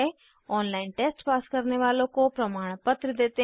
online test pass करने वालों को प्रमाणपत्र देते हैं